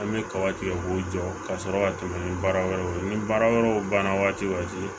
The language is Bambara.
An bɛ kaba tigɛ k'o jɔ ka sɔrɔ ka tɛmɛ ni baara wɛrɛw ye ni baara wɛrɛw banna waatiw